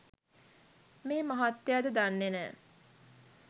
මේ මහත්තයාද දන්නෙ නෑ